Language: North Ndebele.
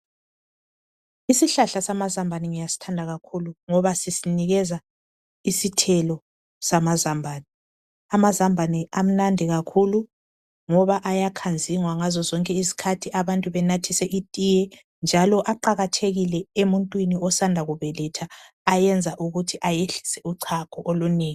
Isihlahla amazambane ngiyasithanda kakhulu ngoba sisinika isithelo samazambane, amazambane amnandi kakhulu ngoba ayakhanzingwa ngazozonke izikhathi abantu benathise itiye njalo aqakathekile emuntwini osanda kubeletha ayenza ukuthi ayehlise uchago olunengi.